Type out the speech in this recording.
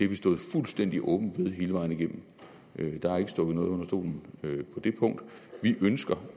vi stået fuldstændig åbent ved hele vejen igennem der er ikke stukket noget under stolen på det punkt vi ønsker